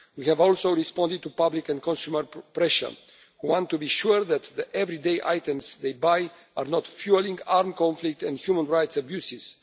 We have also responded to public and consumer pressure. Consumers want to be sure that the everyday items they buy are not fuelling armed conflict and human rights abuses.